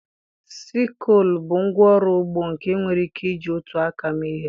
Sikụlụ bụ ngwa ọrụ ugbo nke enwere ike iji otu aka mee ihe.